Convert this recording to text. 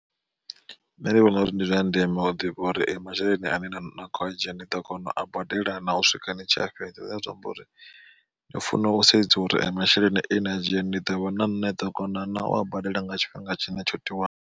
Nṋe ndi vhona uri ndi zwa ndeme u ḓivha uri masheleni ane na kho a dzhia ni ḓo kona u a badela na u swika ni tshiya fhedza zwine zwa amba uri ni funa u sedza uri masheleni ane na a dzhia ni ḓo ni ḓo kona naa ua badela nga tshifhinga tshine tsho tiwaho.